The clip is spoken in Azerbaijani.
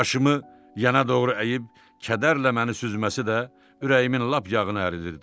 Başımı yana doğru əyib kədərlə məni süzməsi də ürəyimin lap yağını əridirdi.